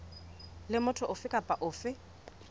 le motho ofe kapa ofe